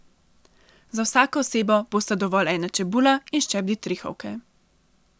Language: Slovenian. Za vsako osebo bosta dovolj ena čebula in ščep ditrihovke.